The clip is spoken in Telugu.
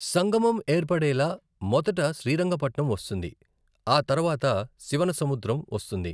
సంగమం ఏర్పడేలా మొదట శ్రీరంగపట్నం వస్తుంది, ఆ తర్వాత శివనసముద్రం వస్తుంది.